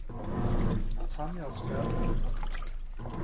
Tanja Skaug